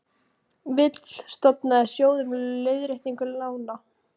Vill stofna sjóð um leiðréttingu lána